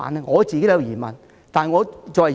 我也有疑問。